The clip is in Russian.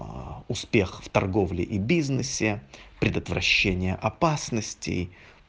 а успех в торговле и бизнесе предотвращения опасности